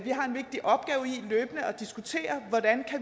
diskutere hvordan